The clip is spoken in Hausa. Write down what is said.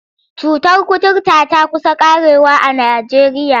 Cutar kuturta ta ƙusa ƙarewa a Najeriya.